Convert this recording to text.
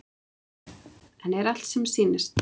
En er allt sem sýnist?